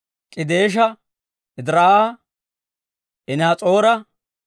K'edeesha, Ediraa'a, Enihas'oora,